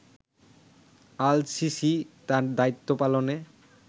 al-Sisi তার দায়িত্ব পালনে